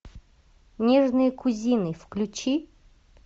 нежные кузины включи